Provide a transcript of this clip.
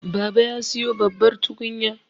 baba ya siyo babbar tukunya